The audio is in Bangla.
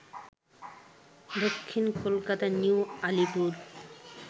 দক্ষিণ কলকাতার নিউ আলিপুর